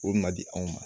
O ma di anw ma